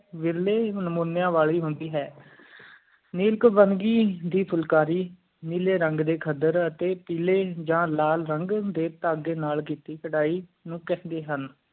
ਵਿਰਲੈ ਨਾਮਾਨ੍ਯ ਵਾਲੀ ਹੈ ਨੀਮ ਕਾਬਾਂਗੀ ਦੀ ਫੁਲਕਾਰੀ ਨੀਲੀ ਰੰਗ ਡੇ ਖੱਦਰ ਟੀ ਪੀਲੀ ਆ ਲਾਲ ਰੰਗ ਡੇ ਢੰਗ ਨਾਲ ਕੇਤੀ ਕਰਹਿਨੂੰ ਕਹਿੰਦੈ ਹਨ